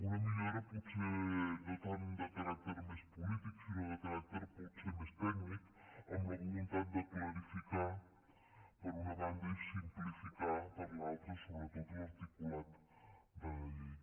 una millora potser no tant de caràcter més polític sinó de caràcter potser més tècnic amb la voluntat de clarificar per una banda i simplificar per l’altra sobretot l’articulat de la llei